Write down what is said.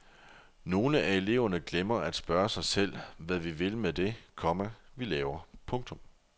Nogle af eleverne glemmer at spørge sig selv hvad vi vil med det, komma vi laver. punktum